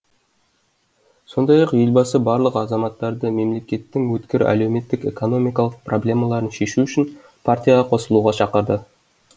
сондай ақ елбасы барлық азаматтарды мемлекеттің өткір әлеуметтік экономикалық проблемаларын шешу үшін партияға қосылуға шақырды